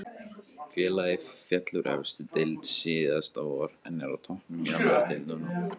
Félagið féll úr efstu deild síðasta vor en er á toppnum í annari deildinni núna.